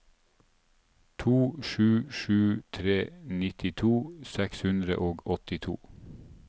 to sju sju tre nittito seks hundre og åttito